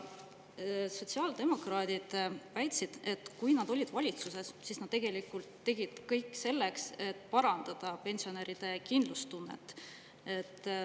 Sotsiaaldemokraadid väitsid, et kui nad olid valitsuses, siis nad tegelikult tegid kõik selleks, et parandada pensionäride kindlustunnet.